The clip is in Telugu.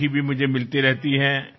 మీ ఉత్తరాలు నాకు అందుతూ ఉంటాయి